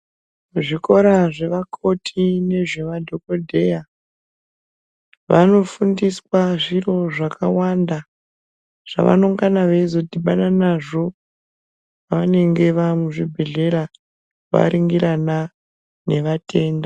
Zvikora zvevakoti nezvevadhokodheya vanofundiswa zviro zvakawanda zvavanongana veizodhibana nazvo pavanenga vamuzvibhedhleya varingirana nevatenda.